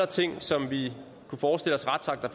ting som vi kunne forestille os retsakter